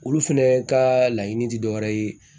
Olu fɛnɛ ka laɲini ti dɔwɛrɛ ye